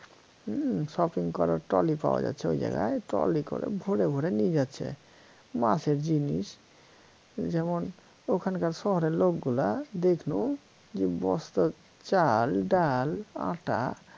উম shopping করার trolly পাওয়া যাচ্ছে ঐ জায়গায় trolly করে ভরে ভরে নিয়ে যাচ্ছে মাসের জিনিস যেমন ওখানকার শহরের লোকগুলা দেখলুম যে বস্তার চার ডাল আটা